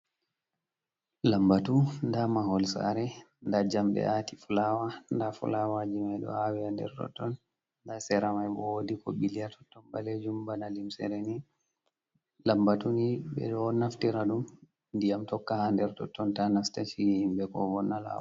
Lambatu, ndaa mahol saare ,ndaa jamɗe aati fulaawa. Ndaa fulawaji may ɗo aawe a nder totton ,ndaa sera may bo, woodi ko ɓilia totton ɓaleejum bana limsere ni. Lambatu ni ɓe ɗo naftira ɗum, ndiyam tokka haa nder totton, ta nasta ci'e himɓe ko wonna law.